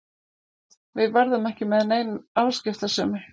Við verðum ekki með neina afskiptasemi.